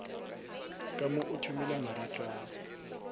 ka mo o thomile maratwana